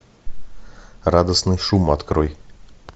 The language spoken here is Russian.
радостный шум открой